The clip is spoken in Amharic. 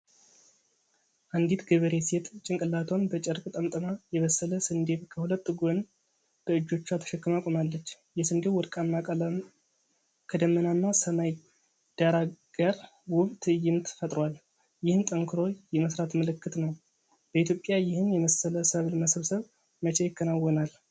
አንዲት ገበሬ ሴት ጭንቅላቷን በጨርቅ ጠምጥማ የበሰለ ስንዴን ከሁለት ጎን በእጆቿ ተሸክማ ቆማለች። የስንዴው ወርቃማ ቀለም ከደመናማ ሰማይ ዳራ ጋር ውብ ትዕይንት ፈጥሯል፤ ይህም ጠንክሮ የመስራት ምልክት ነው። በኢትዮጵያ ይህን የመሰለ ሰብል መሰብሰብ መቼ ይከናወናል?